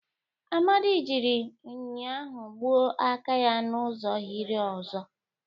Amadi jiri nhịahụ gbuo aka ya n'ụzọ hiere ụzọ.